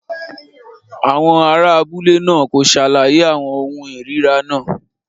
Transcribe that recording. Àwọn ará abúlé náà kò ṣàlàyé àwọn ohun ìríra náà.